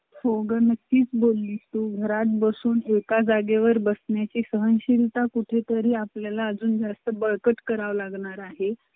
बाकी निवांत हो